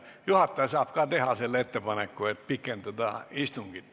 Ka juhataja saab teha ettepaneku istungit pikendada.